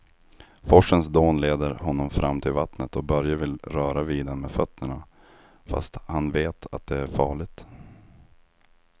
Forsens dån leder honom fram till vattnet och Börje vill röra vid det med fötterna, fast han vet att det är farligt.